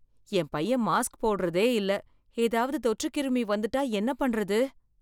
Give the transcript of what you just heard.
என் பையன் மாஸ்க் போடுறதே இல்ல, ஏதாவது தொற்றுக்கிருமி வந்துட்டா என்ன பண்றது?